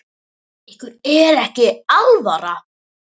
Ykkur er ekki alvara!